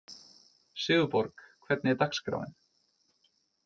Sigurborg, hvernig er dagskráin?